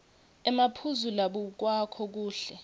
emaphuzu labukwako kuhle